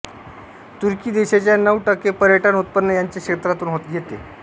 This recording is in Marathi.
तुर्की देशाच्या नऊ टक्के पर्यटन उत्पन्न याचे क्षेत्रातून येते